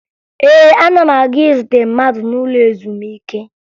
Ee, ana m aga izute mmadụ n'ụlọ ezumike